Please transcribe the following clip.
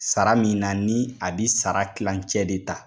Sara min na ni a bi sara kilancɛ de ta.